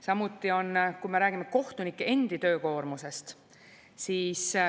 Samuti on, kui me räägime kohtunike endi töökoormusest.